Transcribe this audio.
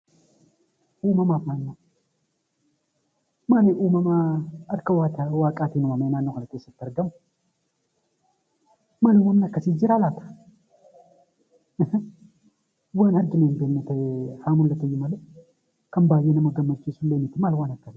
Uumamaa fi naannoo Malummaan uumamaa harka waaqaatiin uumama naannoo kana keessatti argamu manoonni akkasii jiraa laata? Haa mul'atu iyyuu malee